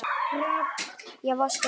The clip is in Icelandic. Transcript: Ég vaska upp.